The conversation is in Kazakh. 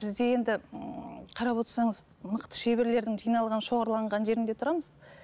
бізде енді ііі қарап отырсаңыз мықты шеберлердің жиналған шоғырланған жерінде тұрамыз